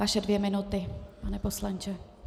Vaše dvě minuty, pane poslanče.